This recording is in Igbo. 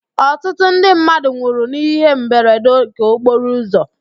Ọtụtụ ndị mmadụ nwụrụ n'íhé mberede nke okporo ụzọ.